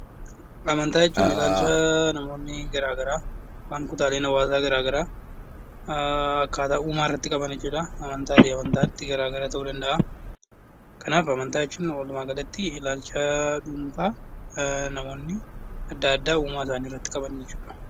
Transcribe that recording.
Amantaa jechuun ilaalcha namootni garaa garaa, kan kutaaleen hawaasaa garaa garaa akkaataa uumaa irratti qaban jechuu dha. Akka amantaatti garaa gara ta'uu danda'a. Kanaaf amantaa jechuun walumaa galatti ilaalcha dhuunfaa namoonni adda addaa uumaa isaanii irratti qaban jechuu dha.